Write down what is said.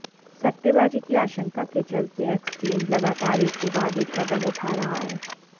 सट्टेबाजी की आशंका केचलते एक्सचेंज लगातार एक के बाद एक कदम उठा रहा है